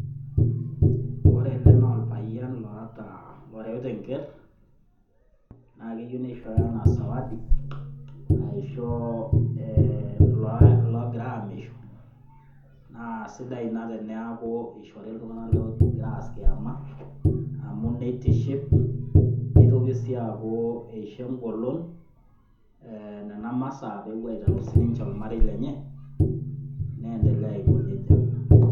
Kore ele naa olpayian loata, oreuta enker naa keyeu neishooyo anaa zawadi aisho loogira aamisho, naa sidai ina teneaku eishori iltung'ana loogira aas kiama amu neitiship. Neitoki sii aaku eisho engolon nena masaa peewuo aiterru sininche olmarei lenye, neendelea aiko neja.